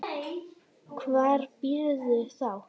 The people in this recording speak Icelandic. Hvar býrðu þá?